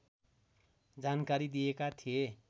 जानकारी दिएका थिए